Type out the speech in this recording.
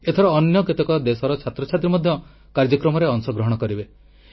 ଏଥର ଅନ୍ୟ କେତେକ ଦେଶର ଛାତ୍ରଛାତ୍ରୀ ମଧ୍ୟ କାର୍ଯ୍ୟକ୍ରମରେ ଅଂଶଗ୍ରହଣ କରିବେ